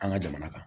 An ka jamana kan